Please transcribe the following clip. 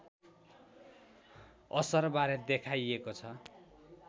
असरबारे देखाइएको छ